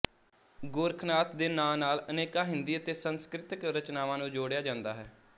ਗੋਰਖਨਾਥ ਦੇ ਨਾਂ ਨਾਲ ਅਨੇਕਾਂ ਹਿੰਦੀ ਅਤੇ ਸਸੰਕ੍ਰਿਤ ਰਚਨਾਵਾਂ ਨੂੰ ਜੋੜਿਆ ਜਾਂਦਾ ਹੈ